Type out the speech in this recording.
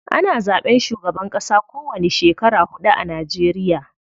Ana zaɓen shugaban ƙasa ko wani shekara huɗu a Najeriya.